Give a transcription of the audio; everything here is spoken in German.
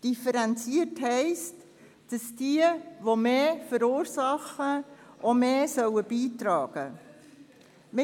Differenziert heisst, dass diejenigen, die mehr verursachen, auch mehr beitragen sollen.